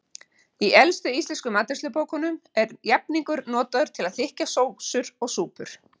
Í elstu íslensku matreiðslubókunum er jafningur notaður til að þykkja sósur og súpur.